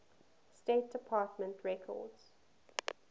state department records